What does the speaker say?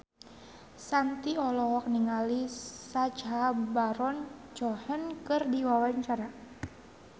Shanti olohok ningali Sacha Baron Cohen keur diwawancara